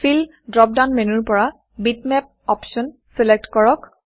feel fill drop down মেনুৰ পৰা Bitmapবিটমেপ অপশ্যন চিলেক্ট কৰক